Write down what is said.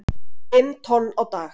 Fimm tonn á dag